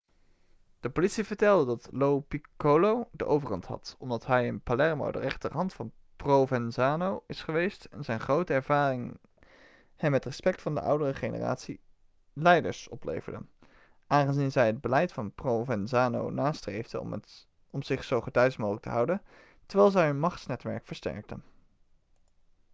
de politie vertelde dat lo piccolo de overhand had omdat hij in palermo de rechterhand van provenzano is geweest en zijn grotere ervaring hem het respect van de oudere generatie leiders opleverde aangezien zij het beleid van provenzano nastreefden om zich zo gedeisd mogelijk te houden terwijl zij hun machtsnetwerk versterkten